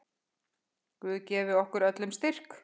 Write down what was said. Guð gefi okkur öllum styrk.